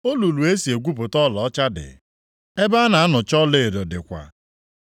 Olulu e si egwupụta ọlaọcha dị; ebe a na-anụcha ọlaedo dịkwa.